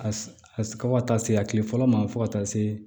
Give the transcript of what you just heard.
A a ka taa se a kile fɔlɔ ma fo ka taa se